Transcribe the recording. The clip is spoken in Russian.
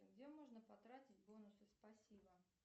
где можно потратить бонусы спасибо